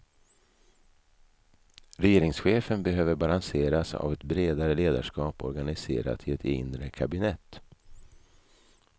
Regeringschefen behöver balanseras av ett bredare ledarskap organiserat i ett inre kabinett.